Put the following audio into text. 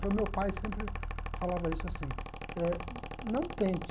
Então, meu pai sempre falava isso assim, eh não tente...